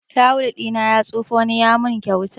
Tawul ɗina ya tsufa, wani ya mun kyauta